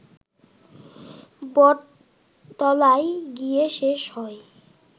বটতলায় গিয়ে শেষ হয়